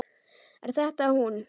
Er þetta hún?